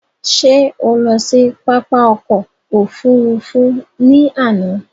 Ṣé o lọ sí pápá ọkò òfurufú ni àná?